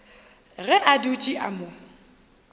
ge a dutše a mo